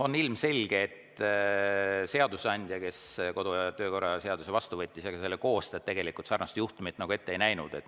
On ilmselge, et seadusandja, kes kodu- ja töökorra seaduse vastu võttis, ja ka selle koostajad sarnast juhtumit ette ei näinud.